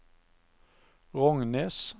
Rognes